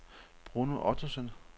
Bruno Ottosen